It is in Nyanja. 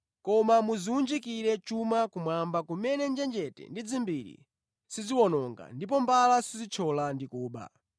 Koma mudziwunjikire chuma kumwamba kumene njenjete ndi dzimbiri siziwononga ndipo mbala sizithyola ndi kuba.